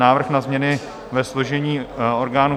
Návrh na změny ve složení orgánů